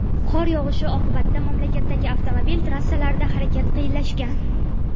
Qor yog‘ishi oqibatida mamlakatdagi avtomobil trassalarida harakat qiyinlashgan.